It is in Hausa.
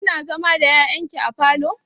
Kina zama da ƴaƴan ki a falo?